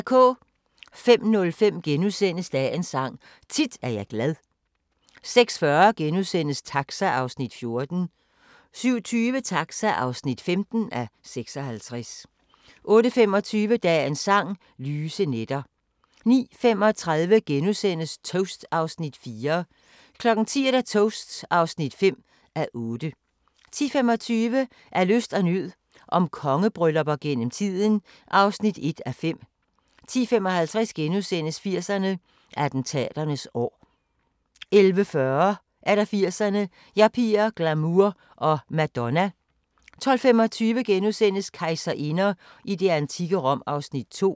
05:05: Dagens Sang: Tit er jeg glad * 06:40: Taxa (14:56)* 07:20: Taxa (15:56) 08:25: Dagens Sang: Lyse nætter 09:35: Toast (4:8)* 10:00: Toast (5:8) 10:25: Af nød og lyst – om kongebryllupper gennem tiden (1:5) 10:55: 80'erne: Attentaternes år * 11:40: 80'erne: Yuppier, glamour og Madonna 12:25: Kejserinder i det antikke Rom (2:3)*